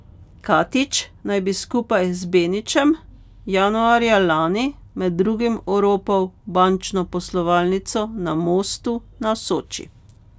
Katić naj bi skupaj z Benićem januarja lani med drugim oropal bančno poslovalnico na Mostu na Soči.